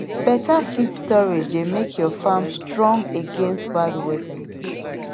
better feed storage dey make your farm strong against bad weather